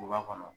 Duguba kɔnɔ